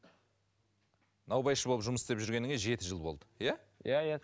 наубайшы болып жұмыс істеп жүргеніңе жеті жыл болды иә иә иә